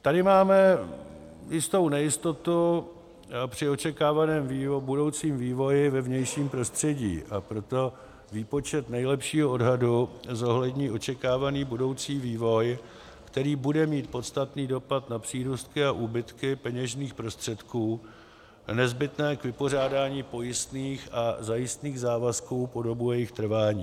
Tady máme jistou nejistotu při očekávaném budoucím vývoji ve vnějším prostředí, a proto výpočet nejlepšího odhadu zohlední očekávaný budoucí vývoj, který bude mít podstatný dopad na přírůstky a úbytky peněžních prostředků nezbytné k vypořádání pojistných a zajistných závazků po dobu jejich trvání.